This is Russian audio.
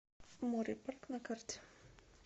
море парк на карте